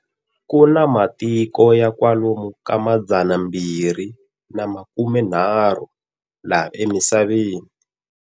Kuna matiku ya kwalomu ka madzanambirhi na makume nharhu, 320, laha emisaveni.